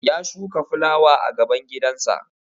Ya shuka fulawa a gaban gidansa